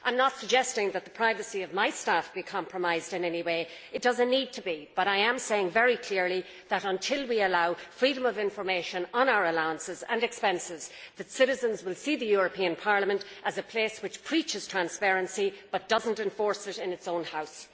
I am not suggesting that the privacy of my staff be compromised in any way it does not need to be. But I am saying very clearly that, until we allow freedom of information on our allowances and expenses, citizens will see Parliament as a place which preaches transparency but does not enforce it in its own House.